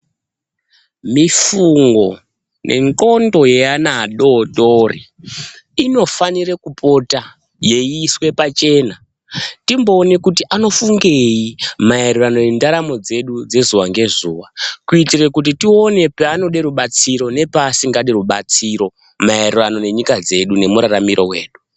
Mifungo nendxondo yeana adodori, inofanire kupota yeyiiswe pachena timbowona kuti anofungeyi mayererano nendaramo dzedu dzezuwa ngezuwa , kuyitire kuti tiwone panode rubatsiro nepasingade rubatsiro mayererano nenyika dzedu, nemuraramiro wedu.